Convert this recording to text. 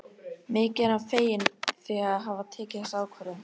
Mikið er hann feginn því að hafa tekið þessa ákvörðun.